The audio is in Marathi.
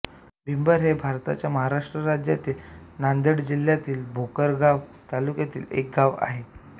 बेंबर हे भारताच्या महाराष्ट्र राज्यातील नांदेड जिल्ह्यातील भोकर गाव तालुक्यातील एक गाव आहे